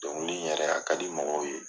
Dɔnkili yɛrɛ a ka di mɔgɔw ye.